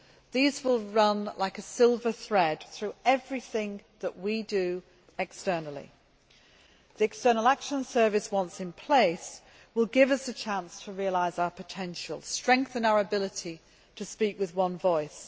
These will run like a silver thread through everything that we do externally. The External Action Service, once in place, will give us the chance to realise our potential and strengthen our ability to speak with one voice.